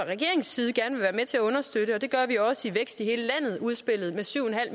regeringens side gerne vil være med til at understøtte og det gør vi også i vækst i hele landet udspillet med syv